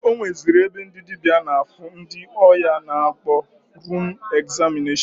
O nweziri ebe ndị dịbịa na-afụ ndị ọya a na-akpọ rum egzamịneshọn.